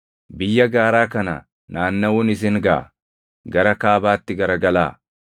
“Biyya gaaraa kana naannaʼuun isin gaʼa; gara kaabaatti garagalaa.